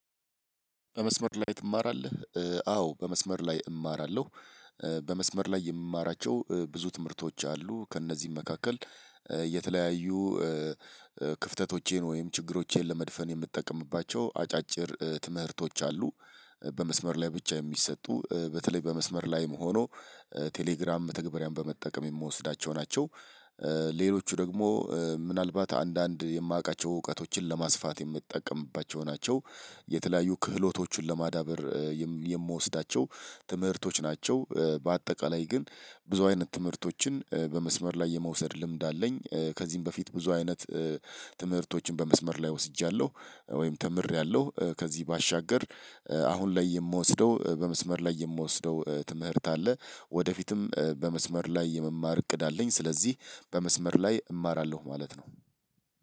በመስመር ላይ ትማራለህ አዎ በመስመር ላይ እማራለሁ። በመስመር ላይ የምማራቸው ብዙ ትምህርቶች አሉ ከእነዚህም መካከል የተለያዩ ክፍተቶቼን ወይም ችግሮቼን ለመድፈን የምጠቀምባቸው አጫጭር ትምህርቶች አሉ። በመስመር ላይ ብቻ የሚሰጡ በተለይ በመስመር ላይም ሆኖ ቴሌግራም መተግባሪያን በመጠቀም የምወስዳቸው ናቸው። ሌሎቹ ደግሞ ምናልባት አንዳንድ የማውቃቸው እውቀቶችን ለማስፋት የምትጠቀምባቸው ናቸው። የተለያዩ ክህሎቶቹን ለማዳበር የምወስዳቸው ትምህርቶች ናቸው በአጠቃላይ ግን ብዙ አይነት ትምህርቶችን በመስመር ላይ የመውሰድ ልምድ አለኝ። ከዚህም በፊት ብዙ አይነት ትምህርቶችን በመስመር ላይ ወስጃለሁ ወይም ተምሬያለሁ። ከዚህ ባሻገር አሁን ላይ የምወስደው በመስመር ላይ የምወስደው ትምህርት አለ። ወደፊትም በመስመር ላይ የመማር እቅድ አለኝ። ስለዚህ በመስመር ላይ እማራለሁ ማለት ነው።